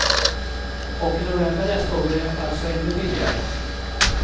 Och i november nästa år blir det alltså ännu billigare.